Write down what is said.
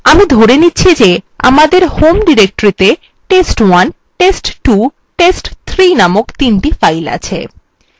আমি ধরে নিচ্ছি যে যে আমাদের home ডিরেক্টরিতে test1 test2 test3 named তিনটি files আছে